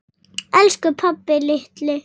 Elsku pabbi litli.